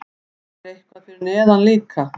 Er eitthvað fyrir neðan líka?